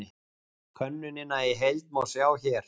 Könnunina í heild má sjá hér